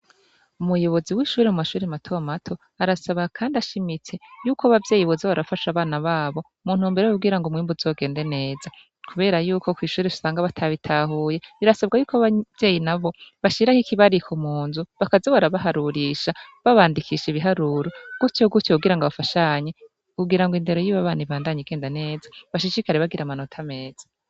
Umuyobozi wishure mu mashure matomato arasaba kandi ashimitse Yuko abavyeyi boza barafasha abana babo muntumbero yuko kugira umwimbu uzogende neza kubera Yuko usanga abana batabigahuye birasabwa ko abavyeyi bashiraho ikibariko munzu bakaza barabaharurisha babandikisha ibaharuro gutyo gutyo kugira bafashanye kugira indero yabo bana ibandanye igenda neza bashishikare bagira amanota meza.